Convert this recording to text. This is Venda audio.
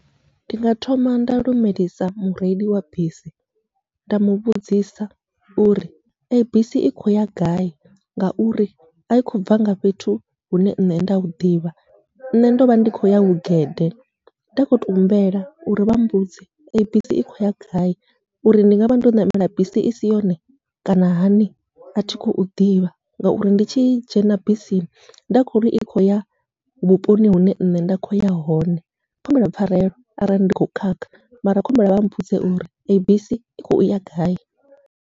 Ndi nga thoma nda lumelisa mureili wa bisi, nda muvhudzisa uri eyi bisi i khou ya gai ngauri ai khou bva nga fhethu hune nṋe nda huḓivha nṋe ndovha ndi khou ya hu gede, nda kho to humbela uri vha mbudze eyi bisi i khou ya gai, uri ndi ngavha ndo ṋamela bisi isi yone kana hani athi khou ḓivha. Ngauri ndi tshi dzhena bisi nda kho ri i khou ya vhuponi hune nṋe nda kho ya hone, khou humbela pfharelo arali ndi kho khakha mara khou humbela vha mbudze uri eyi bisi i khou ya gai.